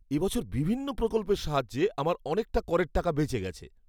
এবছর বিভিন্ন প্রকল্পের সাহায্যে আমার অনেকটা করের টাকা বেঁচে গেছে।